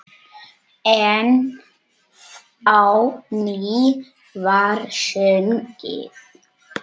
Enn á ný var sungið.